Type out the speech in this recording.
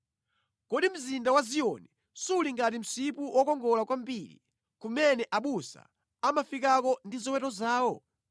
Kodi mzinda wa Ziyoni suli ngati msipu wokongola kwambiri, kumene abusa amafikako ndi ziweto zawo?